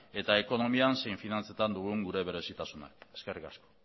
eta ekonomian zein finantzetan dugun gure berezitasuna eskerrik asko